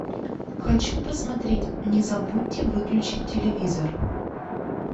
хочу посмотреть не забудьте выключить телевизор